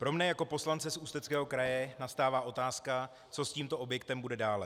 Pro mě jako poslance z Ústeckého kraje nastává otázka, co s tímto objektem bude dále.